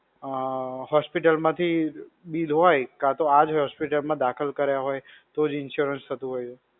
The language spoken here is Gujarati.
અ, hospital માં થી bill હોય કાં તો આ જ hospital માં દાખલ કર્યા હોય, તો જ insurance થતું હોય એવું.